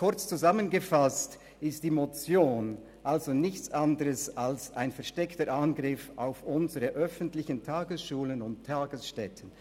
Kurz zusammengefasst ist die Motion also nichts anderes als ein versteckter Angriff auf unsere öffentlichen Tagesschulen und Tagesstätten.